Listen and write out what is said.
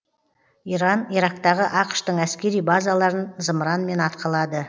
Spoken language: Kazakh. иран ирактағы ақш тың әскери базаларын зымыранмен атқылады